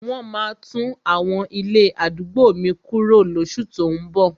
Wọ́n maá tún àwọn ilé àdúgbò mi kuro lóṣù tó ún bọ̀.